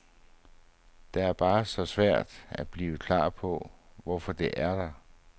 Det er bare så svært at blive klar på, hvorfor det er der.